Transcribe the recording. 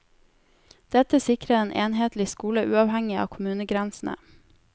Dette sikrer en enhetlig skole uavhengig av kommunegrensene.